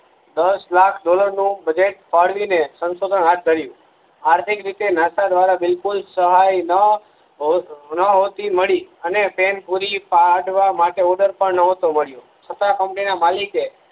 દસ લાખ ડોલર નું બજટ ફાળવી ને સંસોધન હાથ ધરીયું છે આર્થિક રીતે નાસા દ્વ્રારા બિલકુલ સહાય ન હોતી મળી અને પેન પૂરી ફાટવા માટે નતો બનીયો છતાં કંપની ના માલિક એ